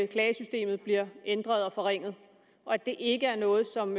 klagesystemet bliver ændret og forringet og at det ikke er noget som